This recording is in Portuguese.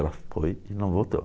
Ela foi e não voltou.